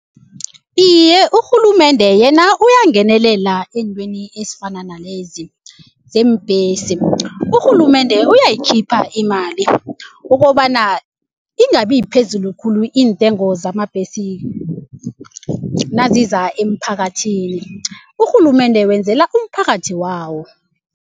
Iye, urhulumende yena uyangenelela eentweni ezifana nalezi zeembhesi urhulumende uyoyikhipha imali ukobana ingabiphezulu khulu iintengo zamabhesi naziza eemphakathini urhulumende wenzela umphakathi wawo.